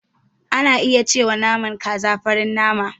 Ana iya cewa naman kaza farin nama.